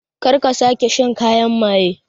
Kar ka sake shan kayan maye